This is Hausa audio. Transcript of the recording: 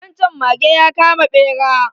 Wan chan mage ya kama bera